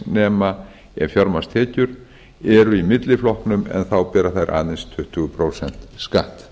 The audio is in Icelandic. nema ef fjármagnstekjur eru í milliflokknum en þá bera þær aðeins tuttugu prósent skatt